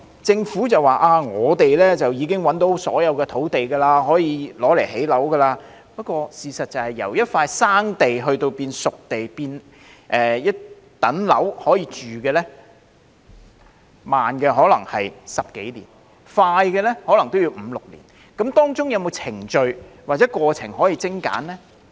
政府表示已覓得所有可用作興建樓宇的土地，不過事實是，由一塊"生地"變成"熟地"以至可以入伙居住的樓宇，慢則可能需時10多年，快則可能也要5年或6年，當中有沒有程序或過程可以精簡呢？